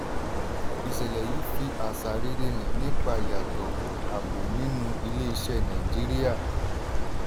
ìṣẹ̀lẹ̀ yìí fi àṣà rere hàn nípa ìyàtọ̀ abo nínú ilé-iṣẹ́ nàìjíríà.